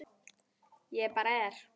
Ég bara er.